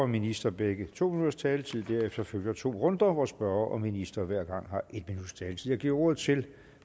minister begge to minutters taletid derefter følger to runder hvor spørger og minister hver gang har en minuts taletid jeg giver ordet til